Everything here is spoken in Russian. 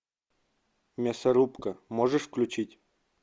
мясорубка можешь включить